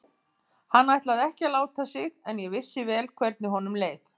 Hann ætlaði ekki að láta sig en ég vissi vel hvernig honum leið.